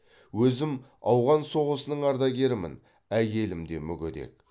өзім ауған соғысының ардагерімін әйелім де мүгедек